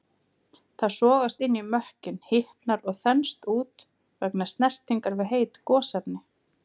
Það sogast inn í mökkinn, hitnar og þenst út vegna snertingar við heit gosefni.